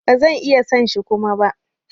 Ba zan iya son shi Kuma ba.